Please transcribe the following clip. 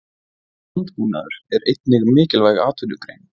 Landbúnaður er einnig mikilvæg atvinnugrein.